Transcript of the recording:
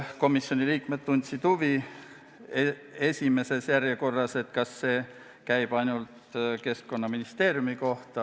Komisjoni liikmed tundsid esmajärjekorras huvi selle vastu, kas see käib ainult Keskkonnaministeeriumi kohta.